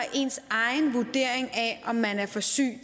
ens egen vurdering af om man er for syg